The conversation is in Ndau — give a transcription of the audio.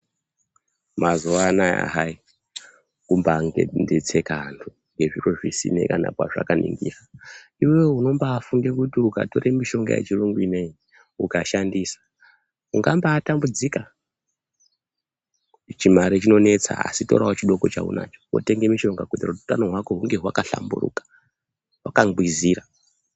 Mazuwa anaa hai kumbondonesekana ngezviro zvisina kwezvakaningira iwewe unombaafunge kuti ukatora mishonga yechirungu ukashandisa ungambaatambudzika, chimare chinonesa asi torawo chidoko chaunacho wotenga mushonga kuitira kuti utano hwako hunge hwakahlamburika hwakangwizira.